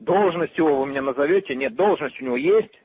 должности его вы мне назовёте нет должность у него есть